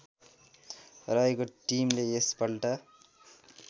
रहेको टिमले यसपल्ट